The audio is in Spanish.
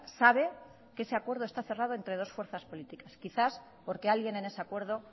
sabe que ese acuerdo está cerrado entre dos fuerzas políticas quizás porque alguien en ese acuerdo